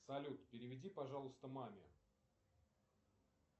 салют переведи пожалуйста маме